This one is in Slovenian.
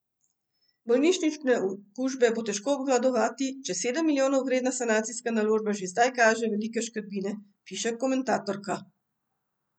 Bolnišnične okužbe bo težko obvladovati, če sedem milijonov vredna sanacijska naložba že zdaj kaže velike škrbine, piše komentatorka.